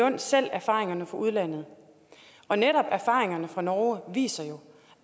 lund selv erfaringerne fra udlandet og netop erfaringerne fra norge viser jo